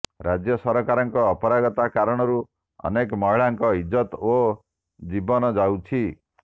ରାଜ୍ୟ ସରକାରଙ୍କ ଅପାରଗତା କାରଣରୁ ଅନେକ ମହିଳାଙ୍କ ଇଜ୍ଜତ ଓ ଜୀବନ ଯାଉଛି